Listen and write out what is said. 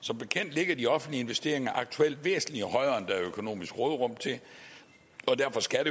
som bekendt ligger de offentlige investeringer aktuelt væsentlig højere end der er økonomisk råderum til og derfor skal der